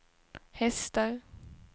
hästar